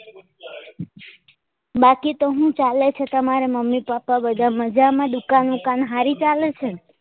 બાકી તો હું ચાલે છે તમારા મમ્મી પપ્પા બધા મજામાં દુકાન બુકન હારી ચાલે છે